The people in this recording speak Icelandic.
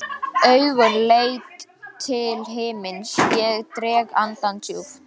Augun leita til himins, ég dreg andann djúpt.